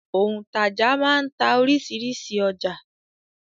Òǹtajà máa ń ta oríṣiríṣi ọjà.